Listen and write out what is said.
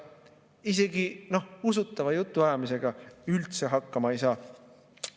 Isegi usutava jutuajamisega üldse hakkama ei saa.